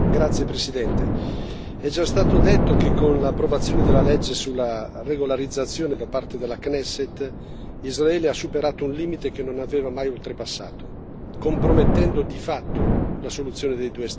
Signor Presidente, onorevoli colleghi, è già stato detto che, con l'approvazione della legge sulla regolarizzazione da parte della Knesset, Israele ha superato un limite che non aveva mai oltrepassato, compromettendo di fatto la soluzione dei due Stati.